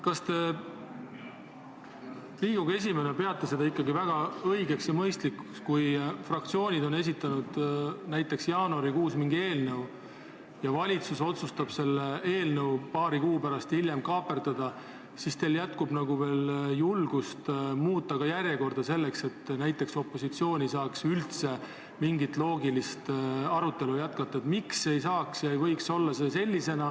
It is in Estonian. Kas te Riigikogu esimehena peate seda väga õigeks ja mõistlikuks, et kui fraktsioonid on näiteks jaanuarikuus esitanud mingi eelnõu ja valitsus otsustab selle eelnõu paari kuu pärast kaaperdada, siis teil jätkub veel julgust muuta ka nende menetlemise järjekorda, et opositsioon ei saaks üldse mingit loogilist arutelu jätkata?